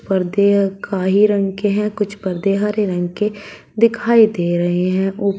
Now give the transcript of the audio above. पर्दे काई रंग के हैं कुछ पर्दे हरे रंग के दिखाई दे रहे हैं ऊ --